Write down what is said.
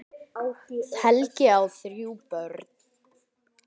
Helgi á þrjú börn.